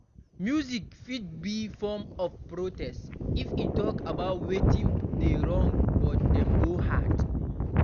Music fit be form of protest if e talk about wetin dey wrong but Dem go hear?